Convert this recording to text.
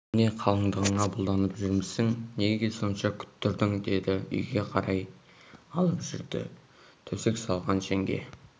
немене қалыңдығыңа бұлданып жүрмісің неге сонша күттірдің деді де үйге қарай алып жүрді төсек салған жеңге